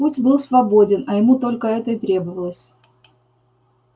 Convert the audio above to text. путь был свободен а ему только это и требовалось